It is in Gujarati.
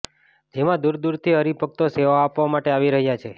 જેમાં દૂર દૂરથી હરિભક્તો સેવા આપવા માટે આવી રહ્યા છે